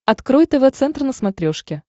открой тв центр на смотрешке